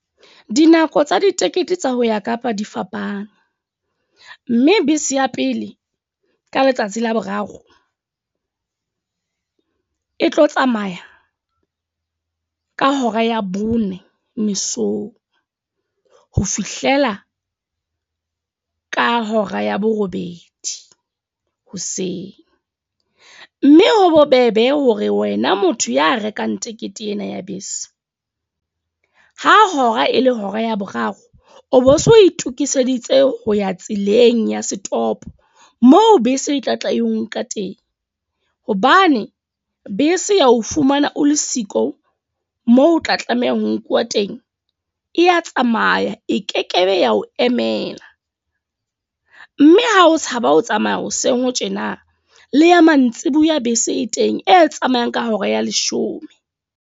Dinako tsa ditekete tsa ho ya Kapa di fapane. Mme bese ya pele ka letsatsi la boraro, e tlo tsamaya ka hora ya bone mesong ho fihlela ka hora ya borobedi hoseng. Mme ho bobebe hore wena motho ya rekang tekete ena ya bese, ha hora e le hora ya boraro. O bo so itokiseditse ho ya tseleng ya setopo. Moo bese e tla tla e onka teng. Hobane bese ya ho fumana o le siko moo o tla tlameha ho nkuwa teng. E ya tsamaya, e kekebe ya ho emela. Mme ha o tshaba ho tsamaya hoseng ho tjena. Le ya mantsiboya bese e teng e tsamayang ka hora ya leshome.